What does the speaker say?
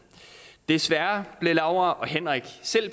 desværre blev laura og henrik